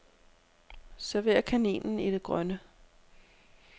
Server kaninen i det grønne.